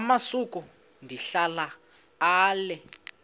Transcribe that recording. amasuka ndihlala ale